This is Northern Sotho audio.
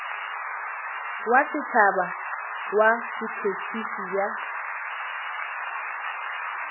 wa setšhaba wa botšhotšhisi bja